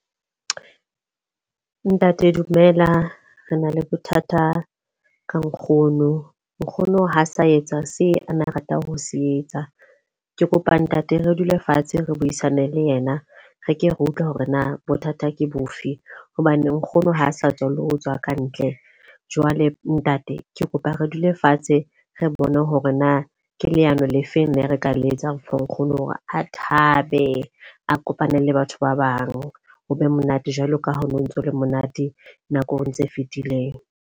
Ntate dumela, re na le bothata ka nkgono. Nkgono ha sa etsa se ana a ratang ho se etsa. Ke kopa ntate re dule fatshe re buisane le yena, re ke re utlwe hore na bothata ke bofe. Hobane nkgono ha sa tswa le ho tswa ka ntle. Jwale ntate ke kopa re dule fatshe, re bone hore na ke le ano le feng na re ka le etsang hore nkgono hore a thabe a kopane le batho ba bang ho be monate jwalo ka ha ho no ntso le monate nakong tse fitileng.